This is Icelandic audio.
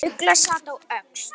Ugla sat á öxl.